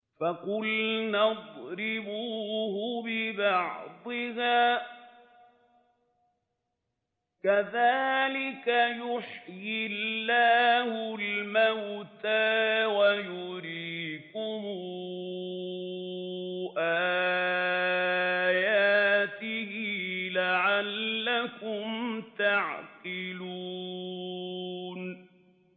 فَقُلْنَا اضْرِبُوهُ بِبَعْضِهَا ۚ كَذَٰلِكَ يُحْيِي اللَّهُ الْمَوْتَىٰ وَيُرِيكُمْ آيَاتِهِ لَعَلَّكُمْ تَعْقِلُونَ